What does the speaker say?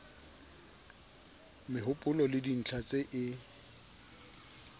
mehopolo le dintlha tse e